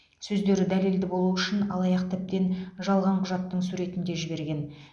сөздері дәлелді болу үшін алаяқ тіптен жалған құжаттың суретін де жіберген